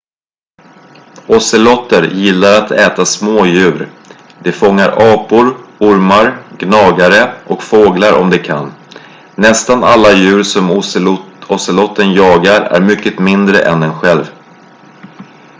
ozeloter gillar att äta små djur de fångar apor ormar gnagare och fåglar om de kan nästan alla djur som ozeloten jagar är mycket mindre än den själv